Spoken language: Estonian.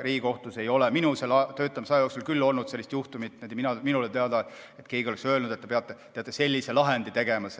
Riigikohtus ei ole minu töötamise aja jooksul olnud minule teadaolevalt sellist juhtumit, kui keegi oleks öelnud, et te peate sellise lahendi tegema